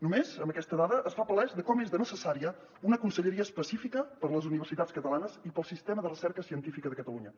només amb aquesta dada es fa palès de com és de necessària una conselleria específica per a les universitats catalanes i per al sistema de recerca científica de catalunya